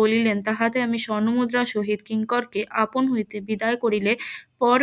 বলিলেন তাহাতে আমি স্বর্ণ মুদ্রা সহিত কিঙ্করকে আপন হইতে বিদায় করিলে পর